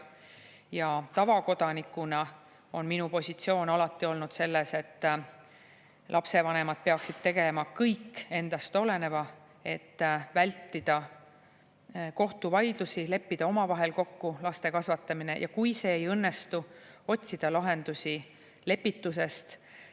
Ja tavakodanikuna on minu positsioon alati olnud selline, et lapsevanemad peaksid tegema kõik endast oleneva, et vältida kohtuvaidlusi, leppida omavahel kokku laste kasvatamine, ja kui see ei õnnestu, otsida lahendusi lepitusest.